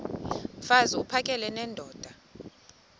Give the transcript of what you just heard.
mfaz uphakele nendoda